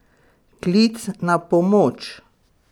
Klic na pomoč?